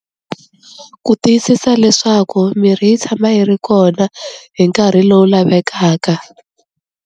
Ku tiyisisa leswaku mirhi yi tshama yi ri kona hi nkarhi lowu lavekaka.